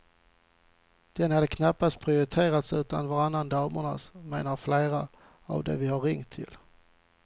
Den hade knappast prioriterats utan varannan damernas, menar flera av de vi ringt till.